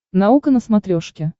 наука на смотрешке